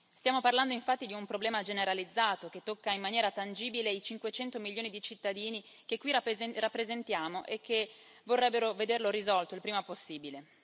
Stiamo parlando infatti di un problema generalizzato che tocca in maniera tangibile i 500 milioni di cittadini che qui rappresentiamo e che vorrebbero vederlo risolto il prima possibile.